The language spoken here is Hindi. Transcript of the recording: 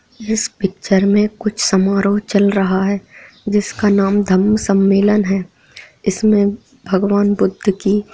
इस पिक्चर में कुछ समारोह चल रहा है जिसका नाम धम्म सम्मेलन है इसमें भगवान बुद्ध की----